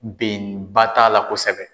Bɛn ba t'a la kosɛbɛ.